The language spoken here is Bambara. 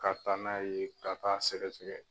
Ka taa n'a ye ka taa sɛgɛsɛgɛ